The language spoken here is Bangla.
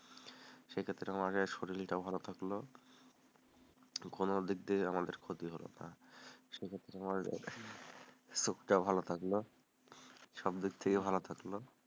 সেক্ষেত্তে আমাদের শরীরটাও ভালো থাকলো কোনো দিক দিয়ে আমাদের ক্ষতি হলো না সেক্ষেত্তে আমাদের শরীরটাও ভালো থাকলো, সব দিক দিয়েই ভালো থাকলো,